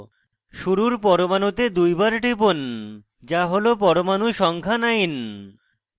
শুরুর পরমাণুতে দুইবার টিপুন যা হল পরমাণু সংখ্যা 9